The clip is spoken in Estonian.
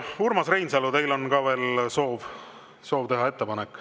Urmas Reinsalu, teil on ka veel soov teha ettepanek.